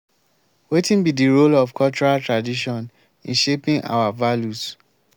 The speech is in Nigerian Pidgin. wetin be di role of cultural tradition in shaping our values?